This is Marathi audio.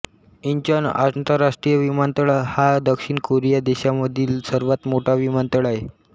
इंचॉन आंतरराष्ट्रीय विमानतळ हा दक्षिण कोरिया देशामधील सर्वात मोठा विमानतळ आहे